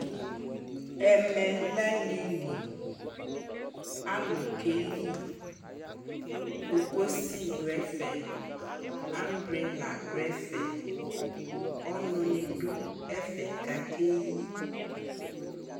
Ɛmɛ lɛ aliliAlu kɛ liKokosi du ɛfɛAmbrela du ɛfɛƆnu ni du ɛfɛ ka kɛ yi